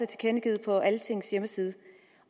tilkendegivet på altingets hjemmeside